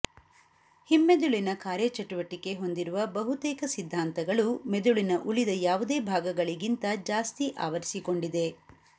ಹಿಮ್ಮೆದುಳಿನ ಕಾರ್ಯಚಟುವಟಿಕೆ ಹೊಂದಿರುವ ಬಹುತೇಕ ಸಿದ್ಧಾಂತಗಳು ಮೆದುಳಿನ ಉಳಿದ ಯಾವುದೇ ಭಾಗಗಳಿಗಿಂತ ಜಾಸ್ತಿ ಆವರಿಸಿಕೊಂಡಿದೆ